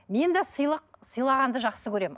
мен де сыйлық сыйлағанды жақсы көремін